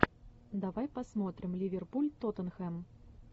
давай посмотрим ливерпуль тоттенхэм